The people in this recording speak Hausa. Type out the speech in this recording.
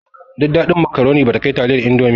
Duk daɗin makaroni bata kai taliyar indomi ba